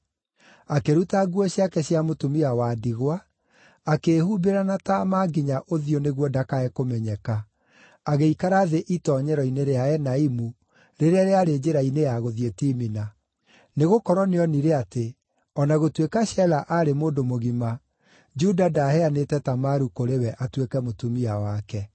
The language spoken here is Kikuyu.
akĩruta nguo ciake cia mũtumia wa ndigwa, akĩĩhumbĩra na taama nginya ũthiũ nĩguo ndakae kũmenyeka, agĩikara thĩ itoonyero-inĩ rĩa Enaimu, rĩrĩa rĩarĩ njĩra-inĩ ya gũthiĩ Timina. Nĩgũkorwo nĩonire atĩ, o na gũtuĩka Shela aarĩ mũndũ mũgima, Juda ndaheanĩte Tamaru kũrĩ we atuĩke mũtumia wake.